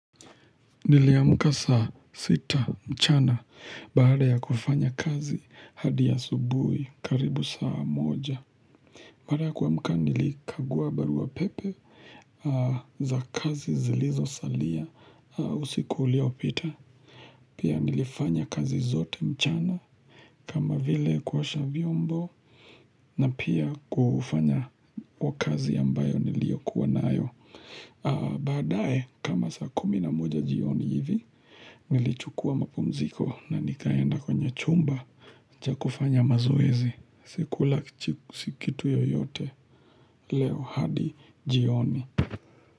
Niliamuka saa sita mchana baada ya kufanya kazi hadi asubuhi karibu saa moja. Baada ya kuamuka nilikagua barua pepe za kazi zilizo salia usiku uliopita Pia nilifanya kazi zote mchana kama vile kuosha vyombo na pia kufanya kwa kazi ambayo niliyokuwa nayo Baadae kama saa kumi na moja jioni hivi Nilichukua mapumziko na nikaenda kwenye chumba cha kufanya mazoezi Sikula kichiku si kitu yoyote Leo hadi jioni.